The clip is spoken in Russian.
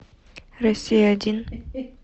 россия один